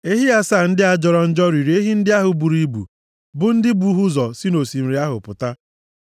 Ehi asaa ndị a jọrọ njọ riri ehi ndị ahụ buru ibu, bụ ndị bu ha ụzọ si nʼosimiri ahụ pụta.